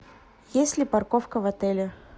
есть ли парковка в отеле